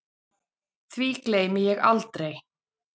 Því gleymi ég aldrei